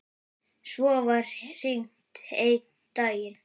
Svo var hringt einn daginn.